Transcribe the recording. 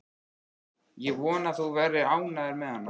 Ég vona að þú verðir ánægður með hana.